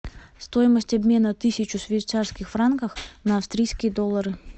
стоимость обмена тысячу швейцарских франках на австрийские доллары